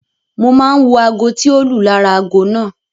Mo máa ń wo aago tí o lù lára aago náà.